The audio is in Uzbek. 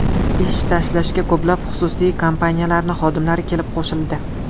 Ish tashlashga ko‘plab xususiy kompaniyalarning xodimlari kelib qo‘shildi.